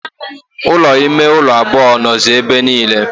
Ụlọ ime ụlọ abụọ nọzi ebe niile.